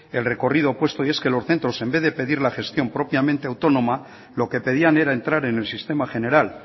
el recorrido puesto y es que los centros en vez de pedir la gestión propiamente autónoma lo que pedían era entrar en el sistema general